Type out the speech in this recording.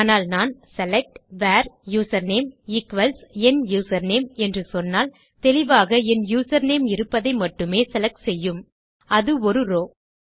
ஆனால் நான் select where username equals என் யூசர்நேம் என்று சொன்னால் தெளிவாக என் யூசர்நேம் இருப்பதை மட்டுமே செலக்ட் செய்யும் அது ஒரு ரோவ்